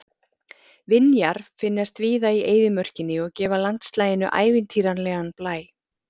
Vinjar finnast víða í eyðimörkinni og gefa landslaginu ævintýralegan blæ.